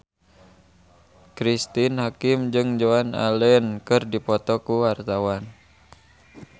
Cristine Hakim jeung Joan Allen keur dipoto ku wartawan